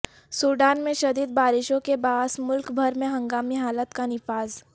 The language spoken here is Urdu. سوڈان میں شدید بارشوں کے باعث ملک بھر میں ہنگامی حالت کا نفاذ